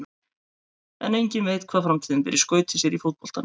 En enginn veit hvað framtíðin ber í skauti sér í fótboltanum.